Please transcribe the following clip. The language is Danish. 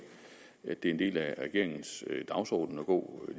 at det er en del af regeringens dagsorden at gå